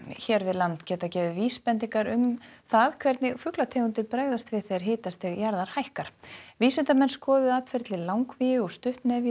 hér við land geta gefið vísbendingar um það hvernig fuglategundir bregðast við þegar hitastig jarðar hækkar vísindamenn skoðuðu atferli langvíu og stuttnefju á